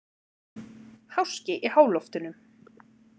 Háski í háloftunum